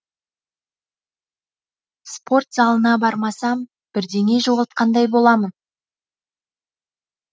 спорт залына бармасам бірдеңе жоғалтқандай боламын